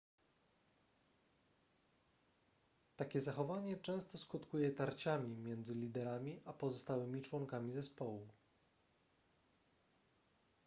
takie zachowanie często skutkuje tarciami między liderami a pozostałymi członkami zespołu